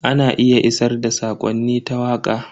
Ana iya isar da sakonni ta waka.